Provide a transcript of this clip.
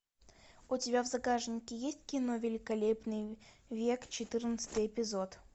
у тебя в загашнике есть кино великолепный век четырнадцатый эпизод